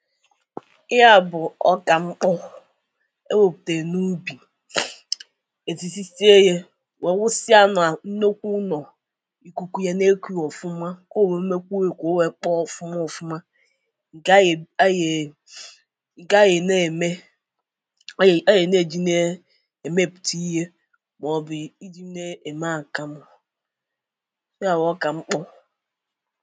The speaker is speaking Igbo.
Ihe a bụ ọka mkpọ e weputara na ubi ezizitieye wee wụsa ya na nnukwu ụnọ̀ kuku ya na-eku ya ọfụmà ka o were mekwuo ya ka ọ kpọ ọfụmà ọfụmà gayè a yee ga ye na-emè oye, oye na-ejinee eme tiyè kpobịị na-eme akamụ̀ ya bụ ọka mkpọ̀